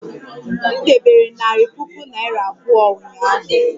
M debere narị puku naira abụọ ụnyaahụ